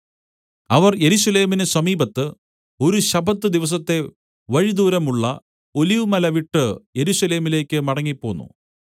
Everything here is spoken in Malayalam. അവർ യെരൂശലേമിന് സമീപത്ത് ഒരു ശബ്ബത്ത് ദിവസത്തെ വഴിദൂരമുള്ള ഒലിവുമലവിട്ട് യെരൂശലേമിലേക്ക് മടങ്ങിപ്പോന്നു